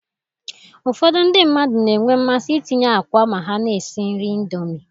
Ụfọdụ ndị mmadụ na-enwe mmasị itinye akwa ma ha na-esi nri Indomi